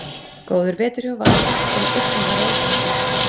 Góður vetur hjá Val sem einnig varð Reykjavíkurmeistari.